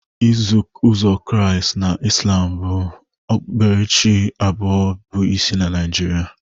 Iso uzọ Kraịst na Ịslam bụ okpukperechi abụọ bụ isi na Naijiria